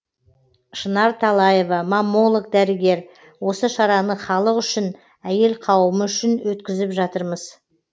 шынар талаева маммолог дәрігер осы шараны халық үшін әйел қауымы үшін өткізіп жатырмыз